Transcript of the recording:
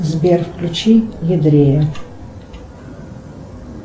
сбер включи едрея